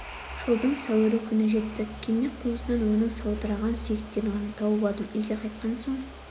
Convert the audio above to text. жылдың сәуірі күні жеттік кеме қуысынан оның саудыраған сүйектерін ғана тауып алдым үйге қайтқан соң